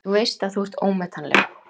Þú veist að þú ert ómetanleg.